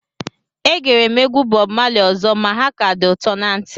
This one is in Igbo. Egere m egwu Bọb Mali ọzọ ma ha ka dị ụtọ na ntị